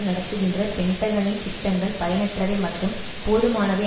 நடத்துகின்ற பென்டகனின் திட்டங்கள் பயனற்றவை மற்றும் போதுமானவை